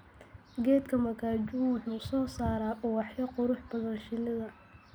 Geedka makkajuu wuxuu soo saaraa ubaxyo qurux badan shinida.